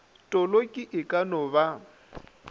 toloki e ka no ba